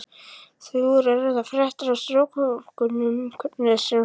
Þar voru engar fréttir af strokufanganum hvernig sem hann leitaði.